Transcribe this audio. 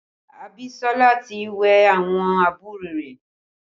Abisola ti wẹ̀ àwọn àbúrò rẹ̀